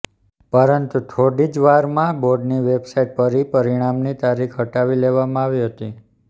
પરંતુ ોડી જ વારમાં બોર્ડની વેબસાઈટ પરી પરિણામની તારીખ હટાવી લેવામાં આવી હતી